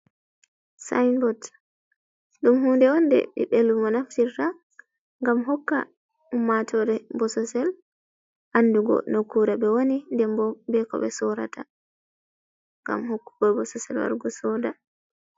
Sinbot, dum hunde hunde bibbe lumo naftirta gam hokka ummatore bososel andugo nokkure be woni dembo be ko be sorata gam hokkugo bososel warugo soda.